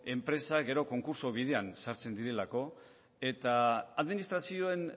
enpresak gero konkurtso bidean sartzen direlako eta administrazioen